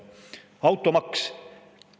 Automaks.